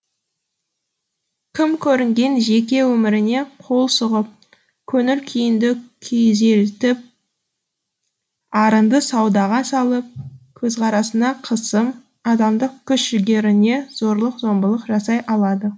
кім көрінген жеке өміріңе қол сұғып көңіл күйіңді күйзелтіп арыңды саудаға салып көзқарасыңа қысым адамдық күш жігеріңе зорлық зомбылық жасай алады